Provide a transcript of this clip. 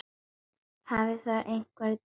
Hafa þar einkum verið tvö sjónarmið uppi.